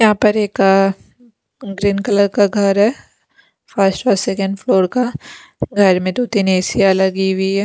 यहां पर एक ग्रीन कलर का घर है फर्स्ट और सेकंड फ्लोर का घर में दो-तीन ए_सि लगी हुई है।